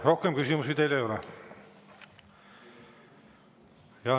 Rohkem küsimusi teile ei ole.